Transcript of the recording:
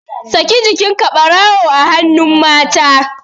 Saki jikinka barawu a hannun mata